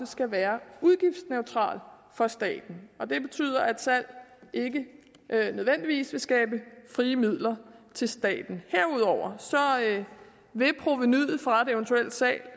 skal være udgiftsneutral for staten det betyder at salg ikke nødvendigvis vil skabe frie midler til staten herudover vil provenuet fra et eventuelt salg